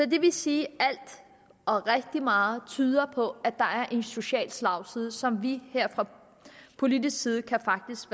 vil sige at rigtig meget tyder på at der er en social slagside som vi her fra politisk side faktisk